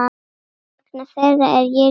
Vegna þeirra er ég ríkari.